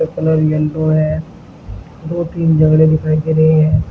Colour yellow है दो तीन जंगले दिखाई दे रहे हैं।